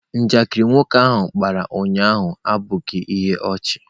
Njakịrị nwoke ahụ kpara ụnyahụ abụghị ihe ọchị.